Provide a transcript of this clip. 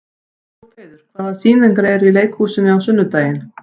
Úlfheiður, hvaða sýningar eru í leikhúsinu á sunnudaginn?